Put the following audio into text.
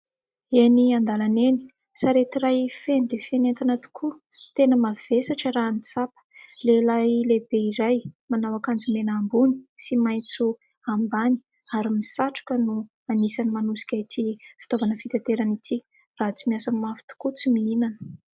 Eny andalana eny : sarety iray feno dia feno entana tokoa, tena mavesatra raha ny tsapa ; lehilahy lehibe iray manao akanjo mena ambony sy maitso ambany ary misatroka no anisany manosika ity fitaovana fitanterana ity ; raha tsy miasa mafy tokoa tsy mihinana.